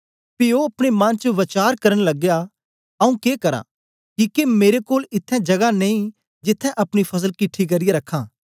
पी ओ अपने मन च वचार करन लगया आऊँ के करां किके मेरे कोल इत्थैं जगा नेई जिथें अपनी फसल किठी करियै रखां